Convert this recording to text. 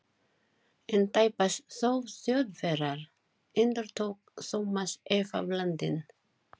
En tæpast þó Þjóðverjar? endurtók Thomas efablandinn.